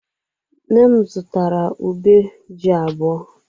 Nne m zụtara ube ji abụọ.